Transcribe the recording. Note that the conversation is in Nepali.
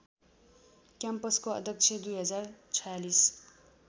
क्याम्पसको अध्यक्ष २०४६